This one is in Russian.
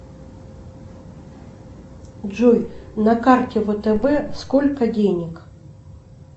джой на карте втб сколько денег